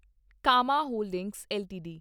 Kama holdings LTD